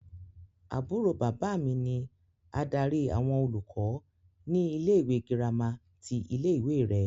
Àbúrò bàbá mi ni adarí àwọn olùkọ́ ní ilé-ìwé gírámà ti ilé-ìwé rẹ.